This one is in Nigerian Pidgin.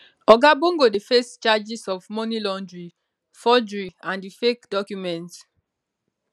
oga bongo dey face charges of money laundering forgery and di fake documents